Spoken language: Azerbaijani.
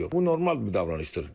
Bu normal bir davranışdır.